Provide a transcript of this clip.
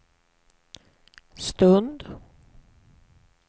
stund